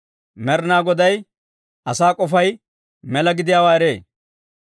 Med'inaa Goday asaa k'ofay mela gidiyaawaa eree.